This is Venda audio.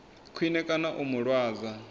khwine kana u mu lwadza